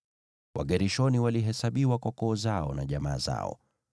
Wagershoni walihesabiwa kwa koo zao na jamaa zao.